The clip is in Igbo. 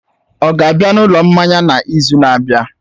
Ọ ga-abịa na ụlọ mmanya n'izu na-abịa?